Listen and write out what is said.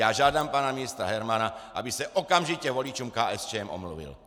Já žádám pana ministra Hermana, aby se okamžitě voličům KSČM omluvil.